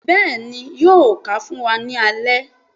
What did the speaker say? béèni yóò kà fún wá ní alé